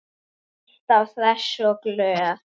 Alltaf hress og glöð.